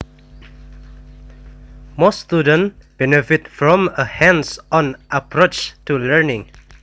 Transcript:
Most students benefit from a hands on approach to learning